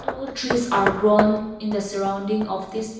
poor trees are grown in the surrounding of this--